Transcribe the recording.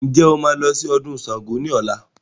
Ǹjẹ́ o máa padà lọ sí ọdún Sángo ni ọ̀la?